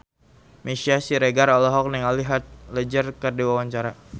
Meisya Siregar olohok ningali Heath Ledger keur diwawancara